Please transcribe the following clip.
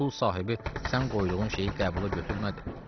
Bəlkə pul sahibi sən qoyduğun şeyi qəbula götürmədi.